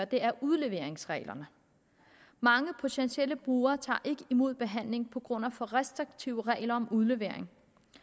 det er udleveringsreglerne mange potentielle brugere tager ikke imod behandling på grund af for restriktive regler om udlevering